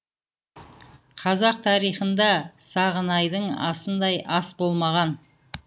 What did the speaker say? қазақ тарихында сағынайдың асындай ас болмаған